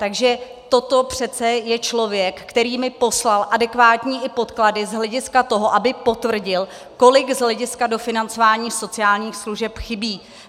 Takže toto přece je člověk, který mi poslal i adekvátní podklady z hlediska toho, aby potvrdil, kolik z hlediska dofinancování sociálních služeb chybí.